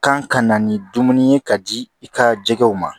Kan ka na ni dumuni ye ka di i ka jɛgɛw ma